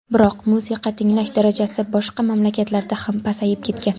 Biroq musiqa tinglash darajasi boshqa mamlakatlarda ham pasayib ketgan.